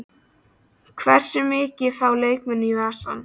Hversu mikið fá leikmenn í vasann?